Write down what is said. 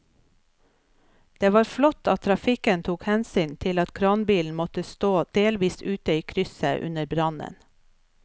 Det var flott at trafikken tok hensyn til at kranbilen måtte stå delvis ute i krysset under brannen.